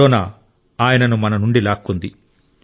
corona ఆయనను మన నుండి లాక్కుంది